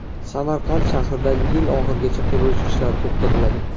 Samarqand shahrida yil oxirigacha qurilish ishlari to‘xtatiladi.